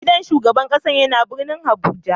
Gidan shugaban kasan ya na birnin Abuja.